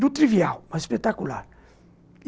do trivial, mas espetacular.